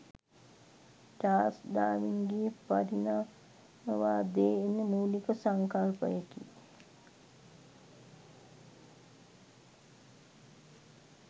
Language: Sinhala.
චාර්ල්ස් ඩාවින්ගේ පරිණාමවාදයේ එන මූලික සංකල්පයකි